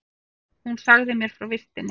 Hún sagði mér frá vistinni.